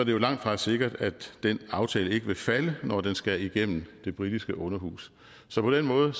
jo langtfra sikkert at den aftale ikke vil falde når den skal igennem det britiske underhus så på den måde